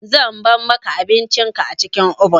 Zan bar maka abincin ka a cikin obin.